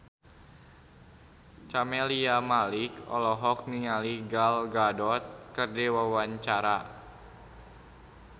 Camelia Malik olohok ningali Gal Gadot keur diwawancara